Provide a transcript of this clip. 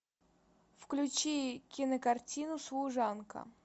включи кинокартину служанка